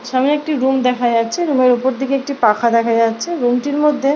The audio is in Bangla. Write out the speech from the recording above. সামনে একটি রুম দেখা যাচ্ছে রুম -এর উপর দিকে একটি পাখা দেখা যাচ্ছে রুম -টির মধ্যে--